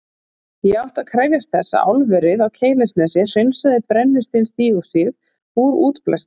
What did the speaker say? Ekki átti að krefjast þess að álverið á Keilisnesi hreinsaði brennisteinsdíoxíð úr útblæstri.